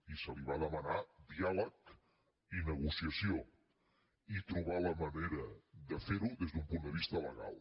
i se li va demanar diàleg i negociació i trobar la manera de fer ho des d’un punt de vista legal